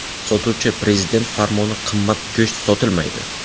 Sotuvchi: ‘Prezident farmoni qimmat go‘sht sotilmaydi.